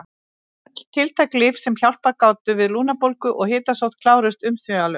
Öll tiltæk lyf sem hjálpað gátu við lungnabólgu og hitasótt kláruðust umsvifalaust.